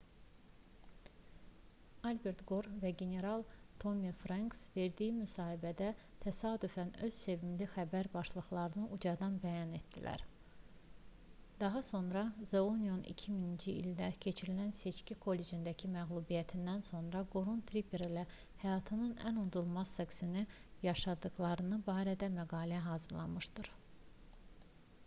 albert qor və general tommi frenks verdiyi müsahibədə təsadüfən öz sevimli xəbər başlıqlarını ucadan bəyan etdilər daha sonra the onion 2000-ci ildə keçirilən seçki kollecindəki məğlubiyyətindən sonra qorun tipper ilə həyatlarının ən unudulmaz seksini yaşadıqları barədə məqalə hazırlamışdı